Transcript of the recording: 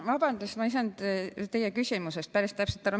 Vabandust, ma ei saanud teie küsimusest päris täpselt aru.